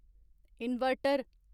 inverter